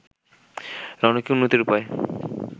রণ কি উন্নতির উপায়